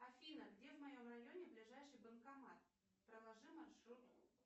афина где в моем районе ближайший банкомат проложи маршрут